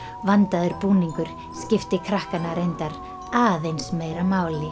vandaður búningur skipti krakkana reyndar aðeins meira máli